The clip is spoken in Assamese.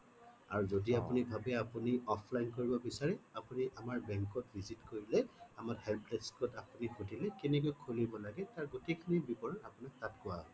আৰু যদি আপুনি ভাবে আপুনি offline কৰিব বিচাৰে আপুনি আমাৰ bank ত visit কৰিলেই আমাৰ help desk ত সুধিলে কেনেকে খুলিব লাগে তাৰ গোটেই খিনি বিবৰণ আপোনাক তাত কোৱা হব